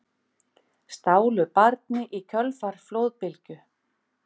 Stálu barni í kjölfar flóðbylgju